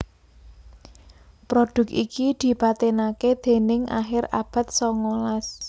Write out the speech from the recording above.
Produk iki dipatenaké ing akhir abad songolas